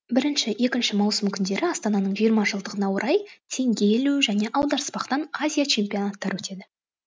бірінші екінші маусым күндері астананың жиырма жылдығына орай теңге ілу және аударыспақтан азия чемпионаттары өтеді